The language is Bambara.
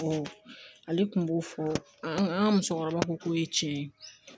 ale tun b'o fɔ an ka musokɔrɔbaw ko k'o ye tiɲɛ ye